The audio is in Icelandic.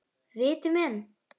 Viti menn.